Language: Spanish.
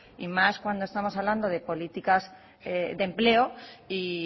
y más cuando estamos hablando de políticas de empleo y